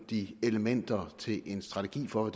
de elementer til en strategi for